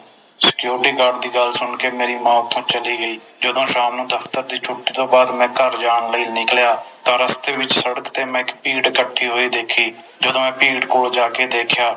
Security Guard ਦੀ ਗੱਲ ਸੁਣ ਕੇ ਮੇਰੀ ਮਾਂ ਓਥੋਂ ਚਲੀ ਗਈ ਜਦੋ ਸ਼ਾਮ ਨੂੰ ਦਫਤਰ ਦੀ ਛੁੱਟੀ ਤੋਂ ਬਾਦ ਮੈਂ ਘਰ ਜਾਣ ਲਈ ਨਿਕਲਿਆ ਤਾ ਰਸਤੇ ਵਿਚ ਸੜਕ ਤੇ ਮੈਂ ਇਕ ਭੀੜ ਇਕਠੀ ਖੜ੍ਹੀ ਹੋਈ ਦੇਖੀ ਜਦੋ ਮੈਂ ਭੀੜ ਕੋਲ ਜਾਕੇ ਦੇਖਿਆ